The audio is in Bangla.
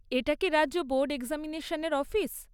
এটা কি রাজ্য বোর্ড এক্সামিনেশনের অফিস?